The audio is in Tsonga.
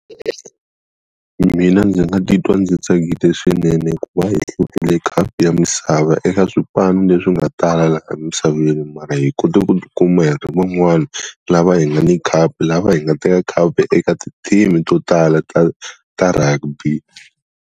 Mina ndzi nga titwa ndzi tsakile swinene ku va hi hlurile khapu ya misava eka swipano leswi nga tala laha misaveni mara hi kota ku kuma hi ri van'wani, lava hi nga ni khapu, lava hi nga teka khapu eka ti-team-i to tala ta ta rugby.